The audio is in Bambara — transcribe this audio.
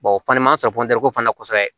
o fana man sɔrɔ ko fana kosɛbɛ